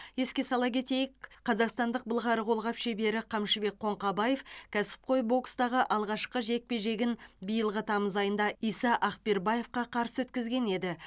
еске сала кетейік қазақстандық былғары қолғап шебері қамшыбек қоңқабаев кәсіпқой бокстағы алғашқы жекпе жегін биылғы тамыз айында иса акбербаевқа қарсы өткізген еді